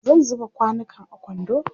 zan zuba kwanukan a kwando